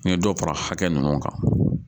N ye dɔ fara hakɛ ninnu kan